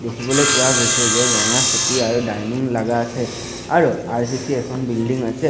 দেখিবলৈ পোৱা গৈছে যে ৰঙা চকী আৰু ডাইনিং লাগা আছে আৰু আৰ_চি_চি এখন বিল্ডিং আছে।